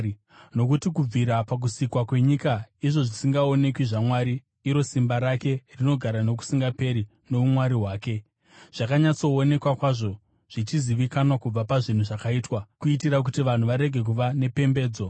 Nokuti kubvira pakusikwa kwenyika izvo zvisingaonekwi zvaMwari, iro simba rake rinogara nokusingaperi nouMwari hwake, zvakanyatsoonekwa kwazvo, zvichizivikanwa kubva pazvinhu zvakaitwa, kuitira kuti vanhu varege kuva nepembedzo.